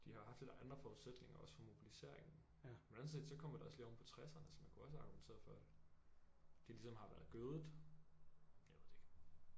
De har haft lidt andre forudsætninger også for mobiliseringen men anden set kommer det også lige oven på tresserne så man kunne også argumentere for der ligesom har været gødet jeg ved det ikke